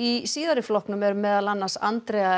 í síðari flokknum eru meðal annars Andrea